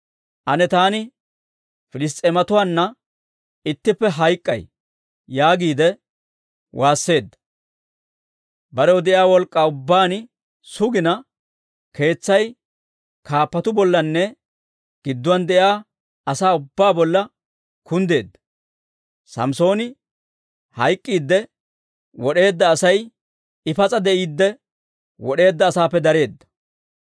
«Ane taani Piliss's'eematuwaanna ittippe hayk'k'ay!» yaagiide waasseedda. Barew de'iyaa wolk'k'aa ubbaan sugina, keetsay kaappatuu bollanne gidduwaan de'iyaa asaa ubbaa bolla kunddeedda. Samssooni hayk'k'iidde wod'eedda asay, I pas'a de'iidde wod'eedda asaappe dareedda.